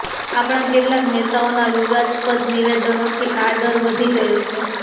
આપણા કેટલાક નેતાઓના વિવાદસ્પદ નિવેદનોથી આ ડર વધી ગયો છે